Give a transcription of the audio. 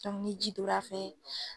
ni ji donna fɛ.